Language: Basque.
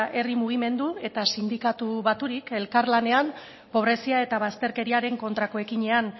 herri mugimendu eta sindikatu baturik elkarlanean pobrezia eta bazterkeriaren kontrako ekinean